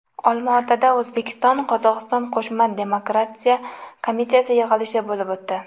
Olmaotada O‘zbekiston-Qozog‘iston qo‘shma demarkatsiya komissiyasi yig‘ilishi bo‘lib o‘tdi.